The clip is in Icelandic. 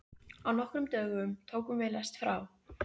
Á nokkrum dögum tókum við lest frá